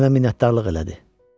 Mənə minnətdarlıq elədi.